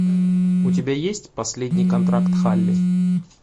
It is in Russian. у тебя есть последний контракт халли